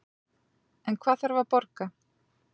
En hvað þarf að borga